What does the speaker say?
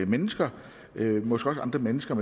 mennesker måske også andre mennesker